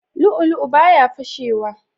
Lu'u lu'u baya fashe wa